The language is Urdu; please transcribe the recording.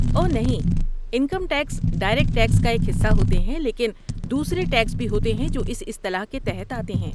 اوہ نہیں، انکم ٹیکس ڈائریکٹ ٹیکس کا ایک حصہ ہوتے ہیں، لیکن دوسرے ٹیکس بھی ہوتے ہیں جو اس اصطلاح کے تحت آتے ہیں۔